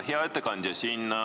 Hea ettekandja!